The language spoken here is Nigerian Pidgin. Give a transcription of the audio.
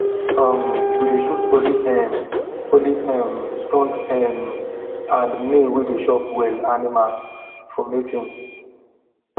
um we dey choose only um only um strong um and male way dey chop well animals for mating